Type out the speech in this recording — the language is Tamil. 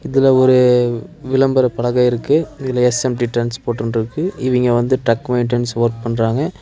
இதுல ஒரு விளம்பர பலக இருக்கு இதுல எஸ்_எம்_டி ட்ரான்ஸ்போர்ட்னு இருக்கு இவிங்க வந்து ட்ரக் மெயின்டன்ஸ் வொர்க் பண்றாங்க.